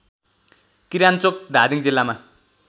किरान्चोक धादिङ जिल्लामा